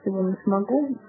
смогу